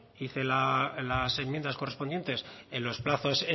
hice las enmiendas correspondientes en los plazos